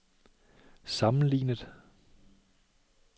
sammenlignet